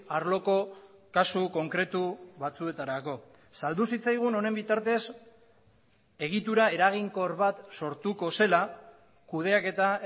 arloko kasu konkretu batzuetarako saldu zitzaigun honen bitartez egitura eraginkor bat sortuko zela kudeaketa